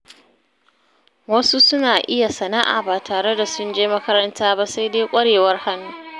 Wasu suna iya sana’a ba tare da sun je makaranta ba, sai dai ƙwarewar hannu.